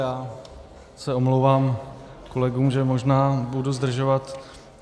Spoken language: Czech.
Já se omlouvám kolegům, že možná budu zdržovat.